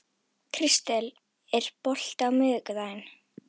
Kristel, er bolti á miðvikudaginn?